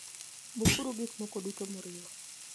Bukuru gik moko duto moriwo.